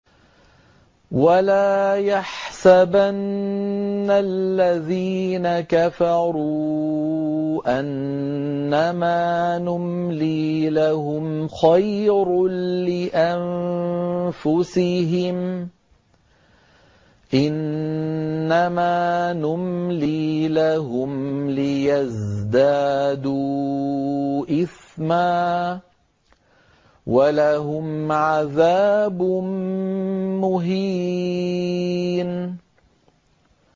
وَلَا يَحْسَبَنَّ الَّذِينَ كَفَرُوا أَنَّمَا نُمْلِي لَهُمْ خَيْرٌ لِّأَنفُسِهِمْ ۚ إِنَّمَا نُمْلِي لَهُمْ لِيَزْدَادُوا إِثْمًا ۚ وَلَهُمْ عَذَابٌ مُّهِينٌ